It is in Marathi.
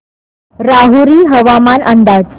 राहुरी हवामान अंदाज